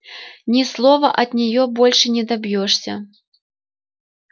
ни слова от нее больше не добьёшься